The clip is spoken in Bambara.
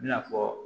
I n'a fɔ